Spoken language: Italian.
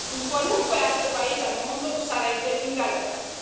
In qualunque altro paese al mondo sarebbe in galera.